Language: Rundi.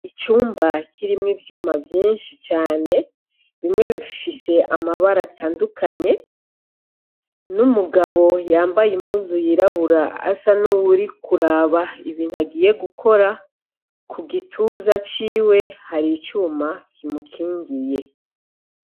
Icumba kirimwo ivyuma vyinshi cane bimwe bifise amabara atandukanye n'umugabo yambaye impuzu yirabura asa n'uwuri kuraba ibintu agiye gukora ku gituza ciwe hari icuma kimukingiye.